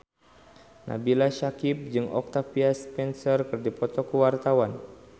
Nabila Syakieb jeung Octavia Spencer keur dipoto ku wartawan